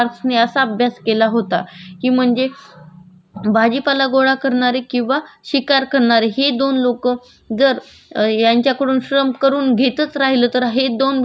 जर यांच्याकडून श्रम करून घेतच राहिलं तर आहे दोन विभागाशी अशेच राहतील आणि ज्या विभागाकडे पैसा वगैरे आहे हे लोक या दोन विभागाकडून काम करून घेतच जातील